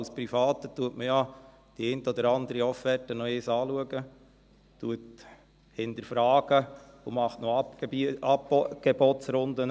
Als Privater schaut man ja die eine oder andere Offerte noch einmal an, hinterfragt und macht noch Angebotsrunden.